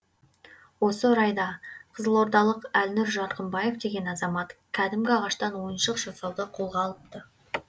осы орайда қызылордалық әлнұр жарқынбаев деген азамат кәдімгі ағаштан ойыншық жасауды қолға алыпты